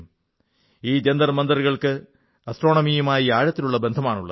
ഈ ജന്തർമന്ദറുകൾക്ക് ആസ്ട്രോണമിയുമായി ആഴത്തിലുള്ള ബന്ധമാണുള്ളത്